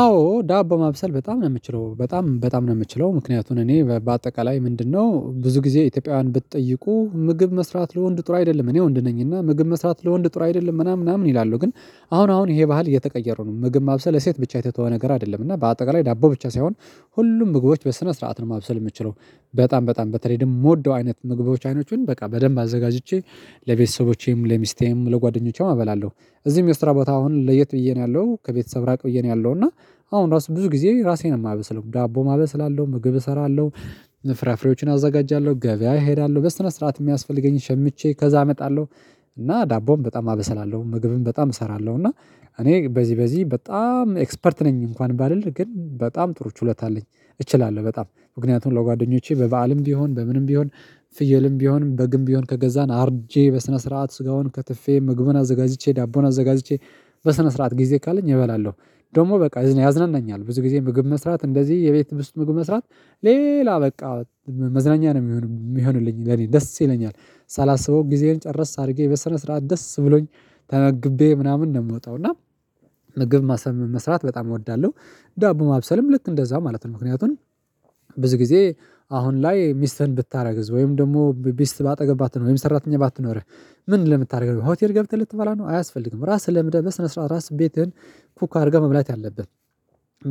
አዎ ዳቦ ማብሰል በጣም ነው የምችለው በጣም በጣም ነው የምችለው። ምክንያቱን እኔ በአጠቃላይ ምንድነው? ብዙ ጊዜ ኢትዮጵያውያን ብትጠይቁ ምግብ መስራት ለወንድ ጥሩ አይደለም እኔ ወንድ ነኝ እና ምግብ መስራት ለወንድ ጥር አይደለም ምናምን ምናምን ይላሉ ግን አሁን አሁን ይሄ ባህል እየተቀየሩ ነው ምግብ ማብሰል ለሴት ብቻ የተተወ ነገር አይደለም እና በአጠቃላይ ዳቦ ብቻ ሳይሆን ሁሉም ምግቦች በስነ ስርዓት ነው ማብሰል የምችለው። በጣም በጣም በተለይ ደግሞ የምወደው አይነት ምግቦች አይኖችን በቃ በደንብ አዘጋጅቼ ለቤተሰቦቼም ለሚስቴም ለጓደኞቼም እበላለሁ እዚህም የስራ ቦታ አሁን ለየት ብዬ ነው ያለው ከቤተሰብ ራቅ ብዬ ነው ያለው እና አሁን ራሱ ብዙ ጊዜ ራሴን የማበስው ዳቦም አበስላለው ምግብ እሰራለሁ። ፍራፍሬዎችን አዘጋጃለሁ ገበያ እሄዳለሁ በስነስርዓት የሚያስፈልገኝ ሸምቼ ከዛ አመጣለሁ። እና ዳቦም በጣም አበሰላለሁ ምግብም በጣም እሰራለሁ እና እኔ በዚህ በዚህ በጣምኤክስፐርት ነኝ። እንኳን ባልል ግን በጣም ጥሩ ችሎታ አለኝ። እችላለሁ በጣም ምክንያቱም ለጓደኞቼ በበአልም ቢሆን በምንም ቢሆን ፍየልም ቢሆን በግም ቢሆን ከገዛን አርጄ በስነ ስርዓት ስጋውን ከትፌ ምግቡን አዘጋጅቼ ዳቦዉን አዘጋጅቼ በስነ ስርዓት ጊዜ ካለኝ እበላለሁ። ደግሞ በቃ ያዝናናኛል ብዙ ጊዜ ምግብ መስራት እንደዚህ የቤት ውስጥ ምግብ መስራት ሌላ በቃ መዝናኛ ነው የሚሆን የሚሆንልኝ ለኔ ደስ ይለኛል። ሳላስበው ጊዜዬን ጨረስ አድርጌ በስነ ስርዓት ደስ ብሎኝ ተመግቤ ምናምን ነው የምወጣው እና ምግብ ማሰም መስራት በጣም እወዳለሁ። ዳቦ ማብሰልም ልክ እንደዛ ማለት ነው ምክንያቱን። ብዙ ጊዜ አሁን ላይ ሚስትህ እድታርግዝ ወይም ደግሞ ምስት ባጠገብ ባትኖር ወይም ሰራተኛ ባትኖርህ? ምን ለምታደርገው ሆቴል ገብተህ ልትባላ ነው አያስፈልግም ራስህ ለምደህ በስነ ስርዓት ራስህን ኩክ አድርገህ መብላት አለብህ።